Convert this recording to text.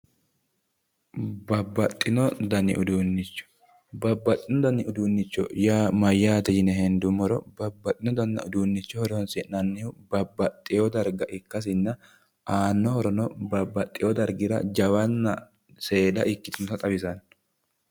babbaxxino dani uduunnicho yaa mayyaate yine hendummoro babbaxxino dani uduunnicho horonsi'nannihu babbaxxewo darga ikkasinna aanno horono babbaxxewo dargira jawanna seeda ikkitinota xawisanno.